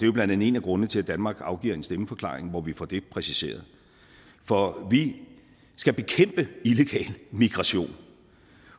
jo blandt andet en af grundene til at danmark afgiver en stemmeforklaring hvor vi får det præciseret for vi skal bekæmpe illegal migration